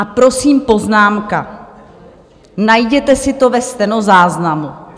A prosím, poznámka: Najděte si to ve stenozáznamu.